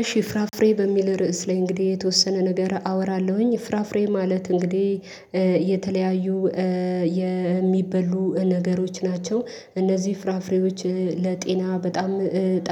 እሺ ፍራፍሬ በሚል ርዕስ ላይ እንግዲህ የተወሰነ ነገር አወራለሁኝ ፍራፍሬ ማለት እንግዲህ የተለያዩ የሚበሉ ነገሮች ናቸው እነዚህ ፍራፍሬዎች ለጤና በጣም